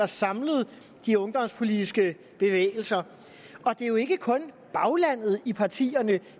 samlede de ungdomspolitiske bevægelser og det er jo ikke kun i baglandet i partierne